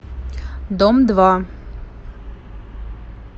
дом два